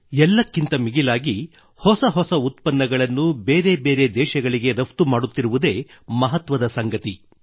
ಎಲ್ಲಕ್ಕಿಂತ ಮಿಗಿಲಾಗಿ ಹೊಸ ಹೊಸ ಉತ್ಪನ್ನಗಳನ್ನು ಹೊಸ ಹೊಸ ದೇಶಗಳಿಗೆ ರಫ್ತು ಮಾಡುತ್ತಿರುವುದೇ ಮಹತ್ವದ ಸಂಗತಿ